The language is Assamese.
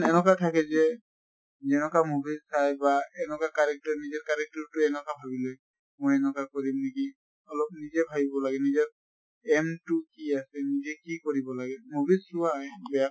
এনকা থাকে যে যেনকা movies চায় বা এনকুৱা কাৰেকতৰ নিজৰ কাৰেকতৰ টো এনকা ভাবি লয়। মই এনকা কৰিম নেকি। অলপ নিজে ভাবিব লাগে নিজৰ aim তো কি আছে, নিজে কি কৰিব লাগে। movies চোৱা বেয়া